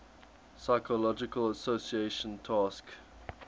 psychological association task